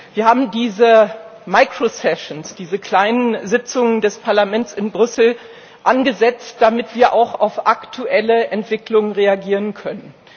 Wir haben diese Mikrotagungen, diese kleinen Sitzungen des Parlaments in Brüssel, angesetzt, damit wir auch auf aktuelle Entwicklungen reagieren können.